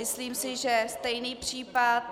Myslím si, že stejný případ...